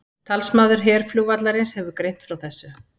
Talsmaður herflugvallarins hefur greint frá þessu